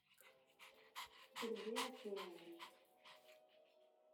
сергей арсеньевич